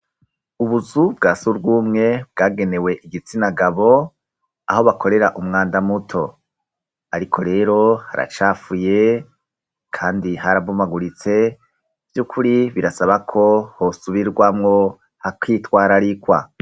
Ubuzu bwa surwumwe bwagenewe igitsinagabo aho bakorera umwanda muto, ariko rero haracafuye, kandi harabumaguritse vy'ukuri birasabako hosubirwamwo hakwitwararikwa.